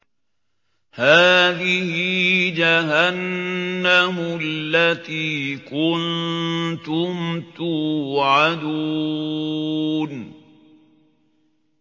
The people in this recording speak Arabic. هَٰذِهِ جَهَنَّمُ الَّتِي كُنتُمْ تُوعَدُونَ